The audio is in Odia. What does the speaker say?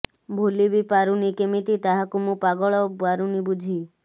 ଭୁଲି ବି ପାରୁନି କେମିତି ତାହାକୁ ମୁଁ ପାଗଳ ପାରୁନି ବୁଝି